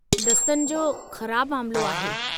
दस्तनि जो ख़राबु मामिलो आहे।